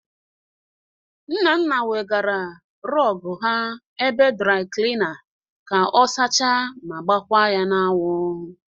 Nnanna wegara rọgụ ha ebe draị klịna ka ọ sacha ma gbakwa ya n'anwụ.